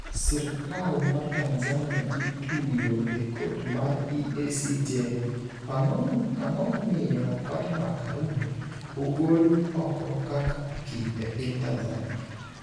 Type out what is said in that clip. Sirkal mar Tanzania ituyo e kot mar EACJ Ang'o momiyo Fatma Karume ogol oko kaka okil e piny Tanzania?